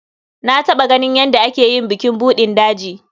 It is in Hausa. Na taɓa ganin yadda ake yin bukin buɗin daji.